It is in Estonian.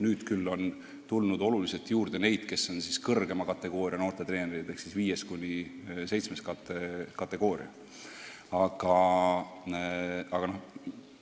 Nüüd on kõvasti juurde tulnud kõrgema kategooria ehk siis 5.–7. kategooria noortetreenereid.